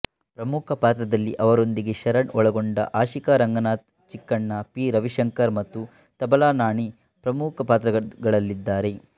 ಪ್ರಮುಖ ಪಾತ್ರದಲ್ಲಿ ಅವರೊಂದಿಗೂ ಶರಣ್ ಒಳಗೊಂಡ ಆಶಿಕಾ ರಂಗನಾಥ್ ಚಿಕ್ಕಣ್ಣ ಪಿ ರವಿಶಂಕರ್ ಮತ್ತು ತಬಲಾ ನಾಣಿ ಪ್ರಮುಖ ಪಾತ್ರಗಳಲ್ಲಿದ್ದಾರೆ